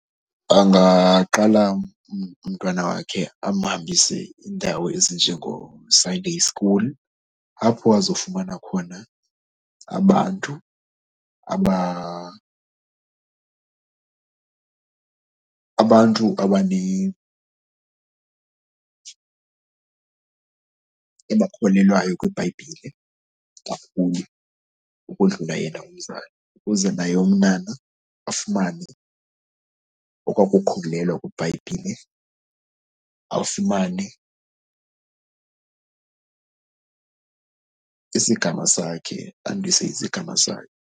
Bangaqala umntwana wakhe amhambise indawo ezinjengooSunday school apho azofumana khona abantu abantu abakholelwayo kwiBhayibhile kakhulu ukodlula yena mzali. Ukuze naye umntwana afumane okwaa kukholelwa kwiBhayibhile, afumane isigaba sakhe, andise isigaba sakhe.